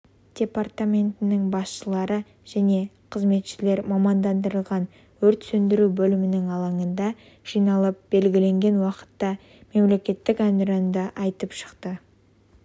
департаменттің басшылары және қызметшілері мамандандырылған өрт сөндіру бөлімінің алаңында жиналып белгіленген уақытта мемлекеттік әнұранды айтып шықты